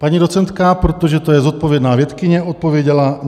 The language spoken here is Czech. Paní docentka, protože to je zodpovědná vědkyně, odpověděla.